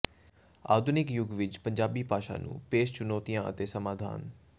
ਆਧੁਨਿਕ ਯੁੱਗ ਵਿੱਚ ਪੰਜਾਬੀ ਭਾਸ਼ਾ ਨੂੰ ਪੇਸ਼ ਚੁਣੌਤੀਆਂ ਅਤੇ ਸਮਾਧਾਨ